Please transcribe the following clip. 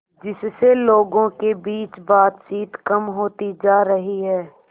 जिससे लोगों के बीच बातचीत कम होती जा रही है